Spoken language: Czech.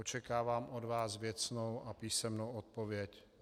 Očekávám od vás věcnou a písemnou odpověď.